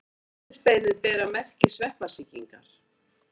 Andlitsbeinin bera merki sveppasýkingar.